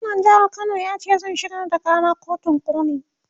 gwamnan jehar Kano yace zai shigar da Kara kotun koli